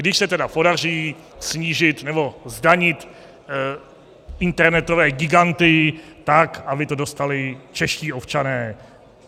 Když se tedy podaří snížit nebo zdanit internetové giganty tak, aby to dostali čeští občané.